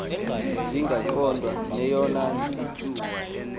zingaqondwa neyona ntsi